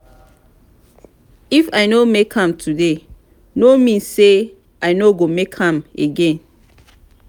if i no make am today no mean say i no go make am again.